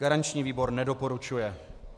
Garanční výbor nedoporučuje.